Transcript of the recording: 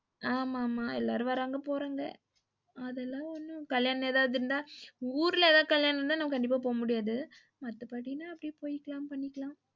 ஆமா ஆமா எல்லாரும் வராங்க போறாங்க அதெல்லாம் கல்யாணம் ஏதாது இருந்தா ஊர்ல ஏதாது கல்யாணம் இருந்த நம்ம கண்டிப்பா போ முடியாது. மத்தபடினா போய்க்கலாம் வந்துக்காலம்